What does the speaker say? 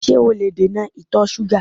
Ṣé o lè dènà ìtọ̀ ṣúgà?